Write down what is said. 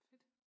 Fedt